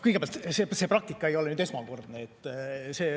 Kõigepealt, see praktika ei ole esmakordne.